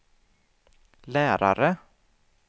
lärare